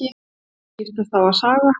Þau skiptast á að saga.